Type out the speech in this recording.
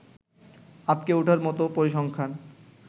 আঁতকে উঠার মতো পরিসংখ্যান